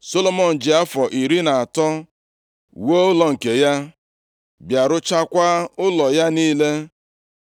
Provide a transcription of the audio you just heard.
Solomọn ji afọ iri na atọ wuo ụlọ nke ya, bịa ruchakwaa ụlọ ya niile.